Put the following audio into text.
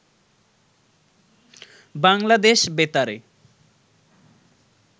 বাংলাদেশ বেতারে